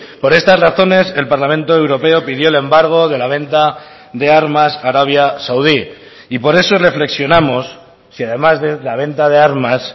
por estas razones el parlamento europeo pidió el embargo de la venta de armas a arabia saudí y por eso reflexionamos si además de la venta de armas